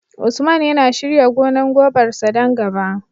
Usman yana shirya gonar gobar sa don gaba